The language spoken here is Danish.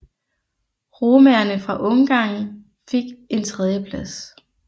Romaerne fra Ungarn fik et tredjeplads